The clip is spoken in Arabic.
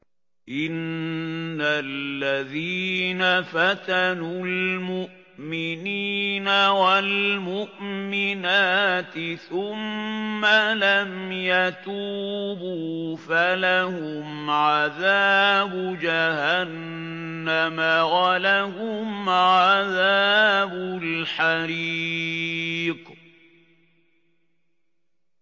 إِنَّ الَّذِينَ فَتَنُوا الْمُؤْمِنِينَ وَالْمُؤْمِنَاتِ ثُمَّ لَمْ يَتُوبُوا فَلَهُمْ عَذَابُ جَهَنَّمَ وَلَهُمْ عَذَابُ الْحَرِيقِ